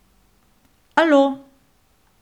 Alo!